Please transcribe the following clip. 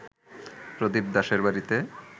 প্রদীপ দাশের বাড়িতে